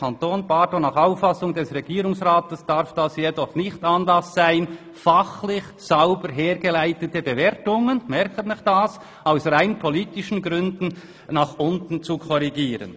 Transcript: Nach Auffassung des Regierungsrats darf das jedoch nicht Anlass sein, fachlich sauber hergeleitete Bewertungen aus rein politischen Gründen nach unten zu korrigieren.